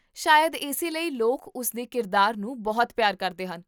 ਸ਼ਾਇਦ ਇਸੇ ਲਈ ਲੋਕ ਉਸ ਦੇ ਕਿਰਦਾਰ ਨੂੰ ਬਹੁਤ ਪਿਆਰ ਕਰਦੇ ਹਨ